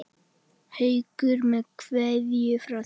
Haukur með kveðju frá þér.